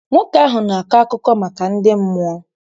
Nwoke ahụ na-akọ akụkọ maka ndị mmụọ.